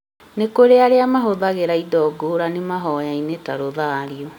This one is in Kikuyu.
nĩ kũrĩ arĩa mahũthagĩra indo ngũrani mahoyainĩ ta rũthario